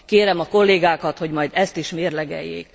Kérem a kollégákat, hogy majd ezt is mérlegeljék.